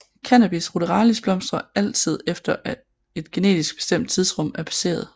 Cannabis ruderalis blomstrer altid efter at et genetisk bestemt tidsrum er passeret